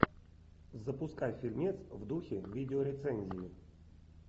запускай фильмец в духе видеорецензии